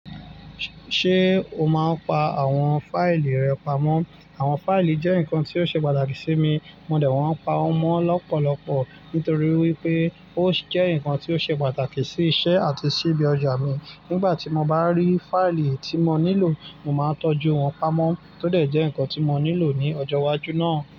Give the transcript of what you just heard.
Ṣé o máa pa àwọn fáìlì rẹ pamọ́? Àwọn fáìlì jẹ́ nǹkan tí ó ṣe pàtàkì sí mi, mo dẹ̀ wọ́n pa wọ́n mọ́ lọ́pọ̀lọpọ̀ nítorí wípé ó jẹ́ nǹkan tí ó ṣe pàtàkì sí iṣẹ́ àti sí ibi ọjà mi. Nígbà tí mo bá rí fáìlì tí mo nílò, mo máa ń tọ́jú wọn pamọ́ tó dẹ̀ jẹ́ nǹkan tí mo nílò ní ọjọ́ iwájú náà.